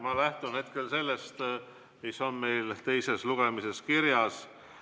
Ma lähtun hetkel sellest, mis on meil teise lugemise kohta kirjas.